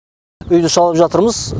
үйді салып жатырмыз